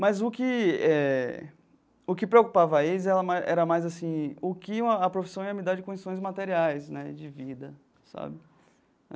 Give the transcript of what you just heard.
Mas o que eh o que preocupava eles era mais, era mais assim, o que a a profissão ia me dar de condições materiais, né, de vida, sabe?